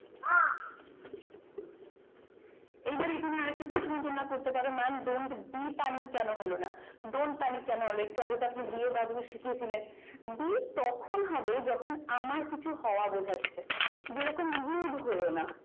এবার এখানে আরেকটা প্রশ্ন তোমরা করতে পারো যে ম্যাম এখানে don't be কেন হলো না don't মানে কেন be দিয়ে শিখিয়েছিলেন be তখন হবে যখন আমার কিছু হওয়া বোঝাচ্ছে যেরকম ইউথ হয়ো না